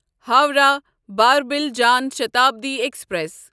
Howrah Barbil Jan Shatabdi express